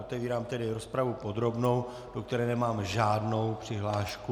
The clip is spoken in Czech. Otevírám tedy rozpravu podrobnou, do které nemám žádnou přihlášku.